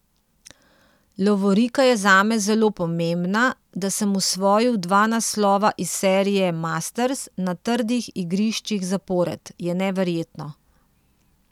Lovorika je zame zelo pomembna, da sem osvojil dva naslova iz serije masters na trdih igriščih zapored, je neverjetno.